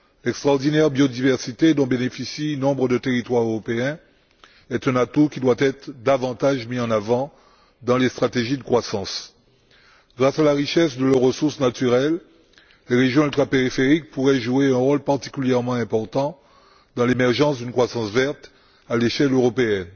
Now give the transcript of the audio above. L'extraordinaire biodiversité dont bénéficient nombre de territoires européens est un atout qui doit être davantage mis en avant dans les stratégies de croissance. Grâce à la richesse de leurs ressources naturelles, les régions ultrapériphériques pourraient jouer un rôle particulièrement important dans l'émergence d'une croissance verte à l'échelle européenne.